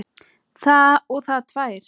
Og það tvær.